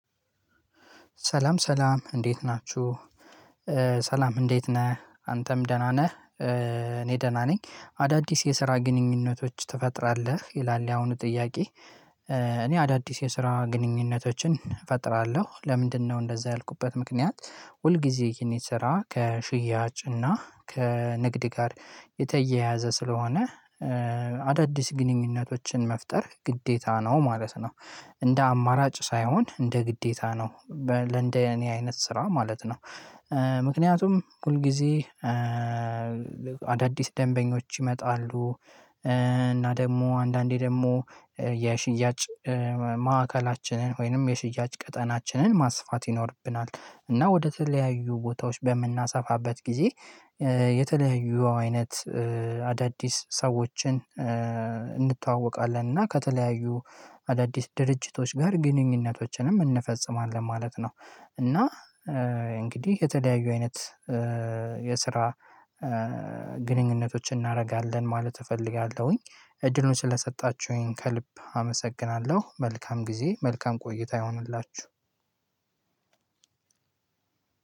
ሰላም ሰላም እንዴት ናችሁ። ሰላም እንዴት ነህ አንተም ደህና ነህ። እኔ ደህና ነኝ። አዳዲስ የስራ ግንኙነቶች ትፈጥራለህ ይላል የአሁኑ ጥያቄ? እኔ አዳዲስ የስራ ግንኙነቶችን እፈጥራለሁ ለምንድነው እንደዛ ያልኩበት ምክንያት። ሁል ጊዜ የኔ ስራ ከሽያጭና ከንግድ ጋር የተያያዘ ስለሆነ። አዳዲስ ግንኙነቶችን መፍጠር ግዴታ ነው ማለት ነው። እንደ አማራጭ ሳይሆን እንደ ግዴታ ነው። ለእንደ የኔ አይነት ስራ ማለት ነው። ምክንያቱም ሁል ጊዜ አዳዲስ ደንበኞች ይመጣሉ። እና ደግሞ አንዳንዴ ደግሞ የሽያጭ ማዕከላችንን ወይንም የሽያጭ ቀጠናችንን ማስፋት ይኖርብናል። እና ወደ ተለያዩ ቦታዎች በምናሰፋበት ጊዜ የተለያዩ አይነት አዳዲስ ሰዎችን እንተዋወቃለን እና ከተለያዩ አዳዲስ ድርጅቶች ጋር ግንኙነቶችንም እንፈጽማለን ማለት ነው። እና እንግዲህ የተለያዩ አይነት የስራ ግንኙነቶችን እናደርጋለን ማለት እፈልጋለሁኝ። እድሎች ስለሰጣችሁኝ ከልብ አመሰግናለሁ መልካም ጊዜ መልካም ቆይታ ይሆንላችሁ።